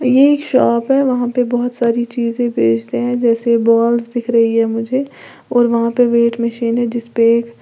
ये एक शॉप है वहां पे बहोत सारी चीजें बेचते हैं जैसे बॉल्स दिख रही है मुझे और वहां पे वेट मशीन है जिसपे एक--